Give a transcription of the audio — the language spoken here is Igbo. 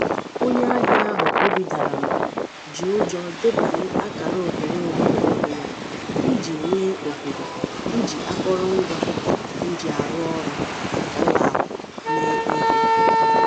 onye ahịa ahụ obi dara mba ji ụjọ dabanye akara ohere onwe ọhụrụ yá iji nwee ohere iji akọrọngwa njiarụọrụ́ ụlọakụ mee ihe.